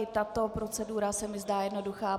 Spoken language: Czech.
I tato procedura se mi zdá jednoduchá.